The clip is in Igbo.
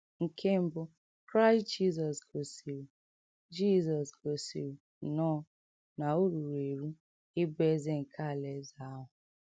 Nke mbụ, Kraịst Jizọs gosiri Jizọs gosiri nnọọ na o ruru eru ịbụ Eze nke Alaeze ahụ.